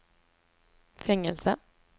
fängelse